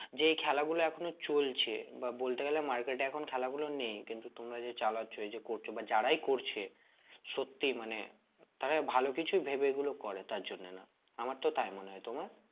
যে এই খেলাগুলো এখনো চলছে বা বলতে গেলে market এ এখন খেলা গুলো নেই কিন্তু তোমরা যে চালাচ্ছ এই যে করছো বা যারাই করছে সত্যি মানে তারা ভালো কিছু ভেবে এগুলো করে তার জন্য না আমার তো তাই মনে হয়ে তোমার?